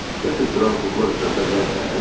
Yatılıb duran kukla düzəldə bilərsən?